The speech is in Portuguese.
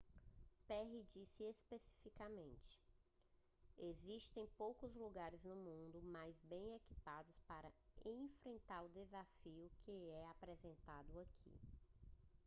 perry disse especificamente existem poucos lugares no mundo mais bem equipados para enfrentar o desafio que é apresentado aqui